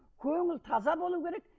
көңіл таза болу керек